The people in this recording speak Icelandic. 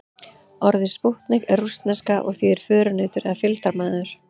Orðið spútnik er rússneska og þýðir förunautur eða fylgdarmaður.